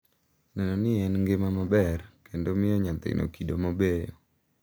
Neno ni en gi ngima maber, kendo miyo nyathino kido mabeyo,